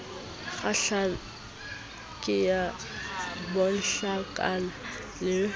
kgahlang ke ya banhlankana le